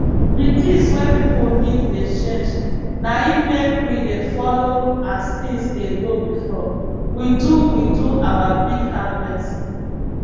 di tins wey pipo need dey change na im make we dey follo as tins dey go before we do we do our big harvest